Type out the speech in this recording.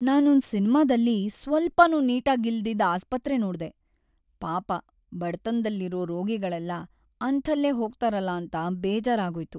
ನಾನೊಂದ್ ಸಿನ್ಮಾದಲ್ಲಿ ಸ್ವಲ್ಪನೂ ನೀಟಾಗಿಲ್ದಿದ್ ಆಸ್ಪತ್ರೆ ನೋಡ್ದೆ, ಪಾಪ ಬಡತನ್ದಲ್ಲಿರೋ ರೋಗಿಗಳೆಲ್ಲ ಅಂಥಲ್ಲೇ ಹೋಗ್ತಾರಲ ಅಂತ ಬೇಜಾರಾಗೋಯ್ತು.